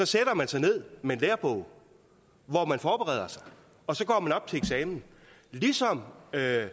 sætter man sig ned med en lærebog og forbereder sig og så går man op til eksamen ligesom herre